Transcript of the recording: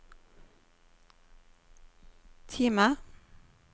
Time